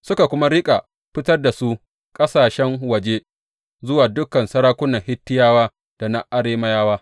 Suka kuma riƙa fitar da su ƙasashen waje zuwa dukan sarakunan Hittiyawa da na Arameyawa.